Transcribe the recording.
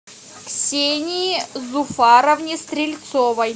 ксении зуфаровне стрельцовой